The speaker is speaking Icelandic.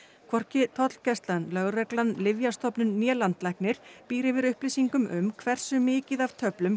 hvorki tollgæslan lögreglan Lyfjastofnun né landlæknir býr yfir upplýsingum um hversu mikið af töflum